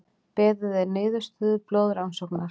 Beðið er niðurstöðu blóðrannsóknar